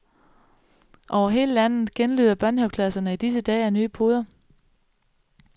Over hele landet genlyder børnehaveklasserne i disse dage af nye poder.